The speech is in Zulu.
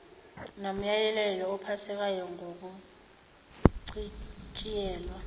nomyalelo ophathelene nokuchitshiyelwa